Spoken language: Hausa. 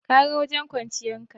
Ka ga wajen kwanciya ta.